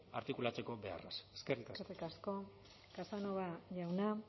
artikulatzeko beharraz eskerrik asko eskerrik asko casanova jauna